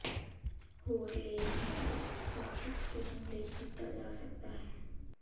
ਹੋਰ ਲੇਖ ਨੂੰ ਉਤਸ਼ਾਹਿਤ ਕਰਨ ਲਈ ਕੀਤਾ ਜਾ ਸਕਦਾ ਹੈ